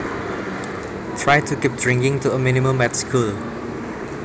Try to keep drinking to a minimum at school